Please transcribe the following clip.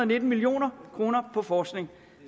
nitten million kroner på forskning